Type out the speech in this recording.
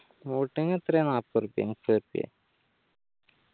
boating എത്രയാ നാപ്പതുറുപ്പിയോ മുപ്പുറപ്പിയ